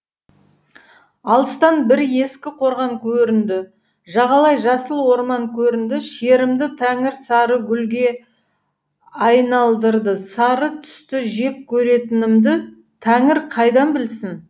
алыстан бір ескі қорған көрінді жағалай жасыл орман көрінді шерімді тәңір сары гүлге айналдырды сары түсті жек көретінімді тәңір қайдан білсін